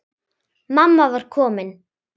Mamma var komin.